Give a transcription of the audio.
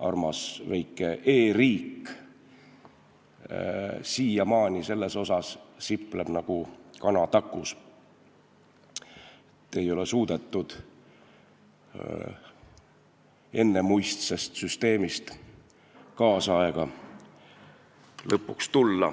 armas väike e-riik sipleb siiamaani nagu kana takus, sest ei ole suudetud ennemuistsest süsteemist lõpuks tänapäeva tulla.